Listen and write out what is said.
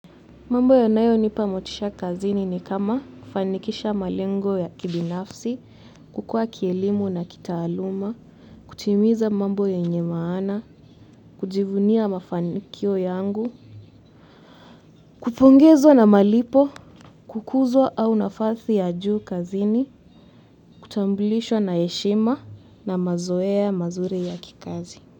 Mambo yanayonipa motisha kazini ni kama kufanikisha malengo ya kibinafsi, kukua kielimu na kitaaluma, kutimiza mambo yenye maana, kujivunia mafanikio yangu, kupongezwa na malipo, kukuzwa au nafasi ya juu kazini, kutamblishwa na heshima na mazoea mazuri ya kikazi.